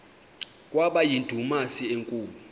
kwaba yindumasi enkulu